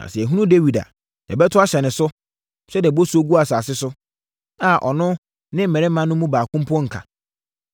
Na sɛ yɛhunu Dawid a, yɛbɛto ahyɛ no so, sɛdeɛ bosuo gu asase so, a ɔno ne mmarima no mu baako mpo nka.